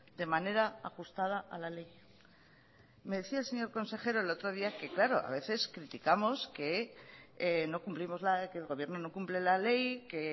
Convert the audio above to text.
de manera ajustada a la ley me decía el señor consejero el otro día que claro a veces criticamos que no cumplimos la que el gobierno no cumple la ley que